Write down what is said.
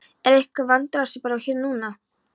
Er einhver vandræðasvipur á þér núna?